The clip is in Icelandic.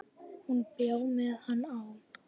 Hún bjó með hann á